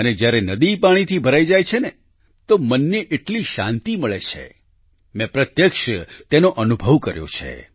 અને જ્યારે નદી પાણીથી ભરાઈ જાય છે ને તો મનને એટલી શાંતિ મળે છે મેં પ્રત્યક્ષ તેનો અનુભવ કર્યો છે